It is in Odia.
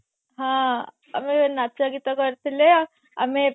ହଁ ଆମେ ନାଚ ଗୀତ କରିଥିଲା ଆମେ